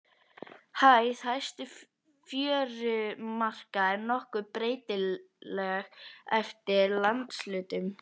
Hæð hæstu fjörumarka er nokkuð breytileg eftir landshlutum.